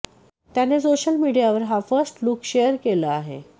त्याने सोशल मीडियावर हा फर्स्ट लूक शेअर केलं आहे